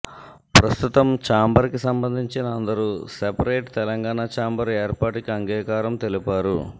ప్రస్తుతం చాంబర్ కి సంబందించిన అందరూ సెపరేట్ తెలంగాణ చాంబర్ ఏర్పాటుకి అంగీకారం తెలిపారు